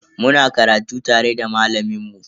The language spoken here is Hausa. Muna karatu tare da malamin mu.